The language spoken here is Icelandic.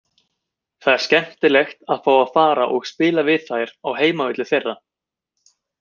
Það er skemmtilegt að fá að fara og spila við þær á heimavelli þeirra.